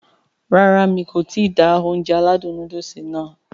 Rárá mi kò ti da Ounjẹ aládùn nóódùsì nàá